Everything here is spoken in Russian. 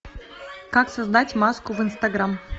как создать маску в инстаграм